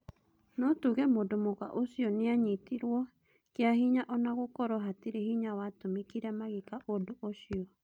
No tuge mũndũ mũka ũcio nĩanyitirwo kĩa hĩnya ona gũkorwo hatirĩ hinya watũmĩkire magĩka undu ucio.